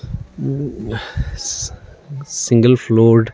single floored --